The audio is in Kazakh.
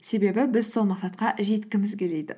себебі біз сол мақсатқа жеткіміз келеді